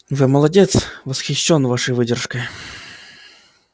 вы молодец восхищён вашей выдержкой